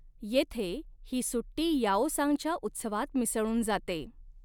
येथे, ही सुट्टी याओसांगच्या उत्सवात मिसळून जाते.